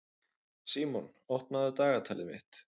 Símon, opnaðu dagatalið mitt.